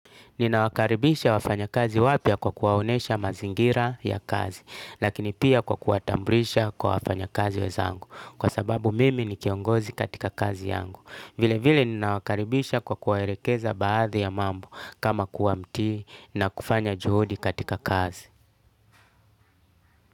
Ninawakaribisha wafanyakazi wapya kwa kuwaonesha mazingira ya kazi. Lakini pia kwa kuwatambulisha kwa wafanyakazi wenzangu. Kwa sababu mimi ni kiongozi katika kazi yangu. Vile vile ninawakaribisha kwa kuwaelekeza baadhi ya mambo kama kuwa mtii na kufanya juhudi katika kazi.